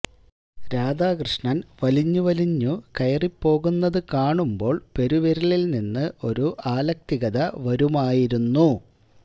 രാധാകൃഷ്ണൻ വലിഞ്ഞു വലിഞ്ഞു കയറി പോകുന്നത് കാണുമ്പോൾ പെരുവിരലിൽ നിന്ന് ഒരു ആലക്തികത വരുമായിരുന്നു